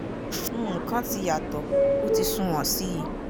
nǹkan ti yàtọ̀ o ti sunwọ̀n sí i